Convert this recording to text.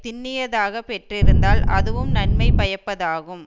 திண்ணியதாகப் பெற்றிருந்தால் அதுவும் நன்மை பயப்பதாகும்